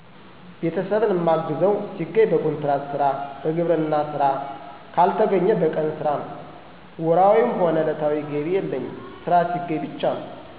ቤተሰብን ማግዘው ሲገኝ በኮንትራት ስራ፣ በግብርና ስራ ካልተገኘ በቀን ስራ ነው። ወርሀዊ/ዕለታዊ ገቢ የለም ስራ ሲገኝ ብቻ ነው።